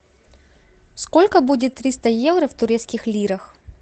сколько будет триста евро в турецких лирах